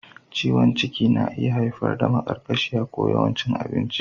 Ciwon ciki na iya haifar da maƙarƙashiya ko yawan cin abinci.